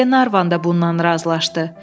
Glenarvan da bundan razılaşdı.